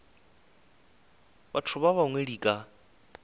batho ba bangwe di ka